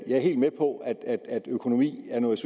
jeg er helt med på at økonomi